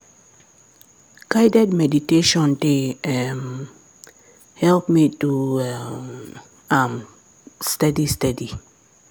guided meditation dey um help me do um am steady steady.